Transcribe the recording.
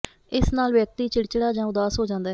ਇਸ ਨਾਲ ਵਿਅਕਤੀ ਚਿੜਚਿੜਾ ਜਾਂ ਉਦਾਸ ਹੋ ਜਾਂਦਾ ਹੈ